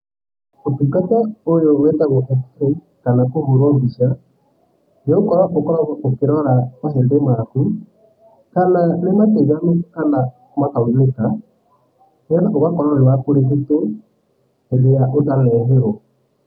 Ũtungata ũyũ wĩtagwo x-ray kana kũhũrwo mbica, nĩgũkorwo ũkoragwo ũkĩrora mahĩndĩ maku kana nĩ matiganu kana makaunĩka nĩgetha ũgakorwo wĩ wa kũrigitwo hĩndĩ ĩrĩa ũtanehĩrwo.